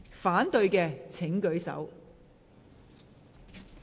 反對的請舉手。